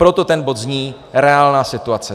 Proto ten bod zní "reálná situace".